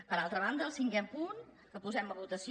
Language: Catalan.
per altra banda el cinquè punt que posem a votació